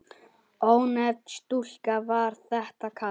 Ónefnd stúlka: Var þetta kalt?